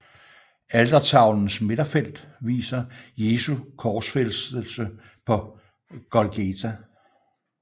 Altertavlens midterfelt viser Jesu korsfæstelse på Golgata